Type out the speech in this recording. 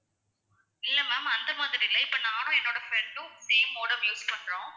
இல்ல ma'am அந்த மாதிரி இல்ல இப்போ நானும் என்னோட friend உம் same modem use பண்றோம்